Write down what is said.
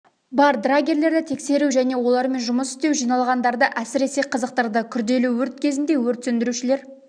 бар драгерлерді тексеру және олармен жұмыс істеу жиналғандаржы әсіресе қызықтырды күрделі өрт кезінде өрт сөндірушілер